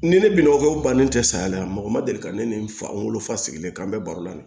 Ni ne binɔgɔw bannen tɛ saya la mɔgɔ ma deli ka ne ni n fa n wolofa sigilen kan n bɛ baro la